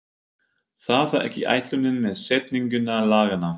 Það var ekki ætlunin með setningu laganna.